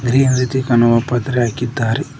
ಈ ರೀತಿ ಕನವು ಪತ್ರೆ ಹಾಕಿದ್ದಾರೆ.